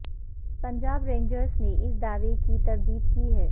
Punjab rangers نے اس دعوے کی تردید کی ہے